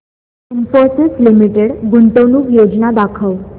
Infosys limited गुंतवणूक योजना दाखव